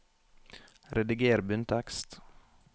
Rediger bunntekst